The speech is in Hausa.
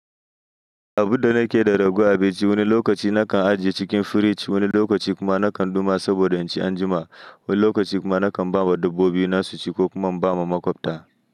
Abun da nakeyi da raguwan abinci wani lokaci nakan ajiye cikin firij, wani lokaci kuma nakan ɗuma saboda in ci anjima. Wani lokaci kuma nakan ba wa dabbobina su ci ko kuma inba ma maƙwabta.